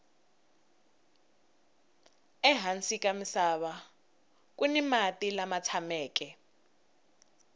ehansi ka misava kuni mati lama tshameke